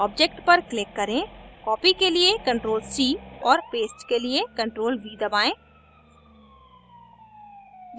object पर click करें copy के लिए ctrl + c और paste के लिए ctrl + v दबाएं